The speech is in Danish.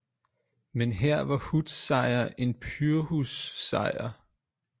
Men her var hoods sejr en pyrrhus sejr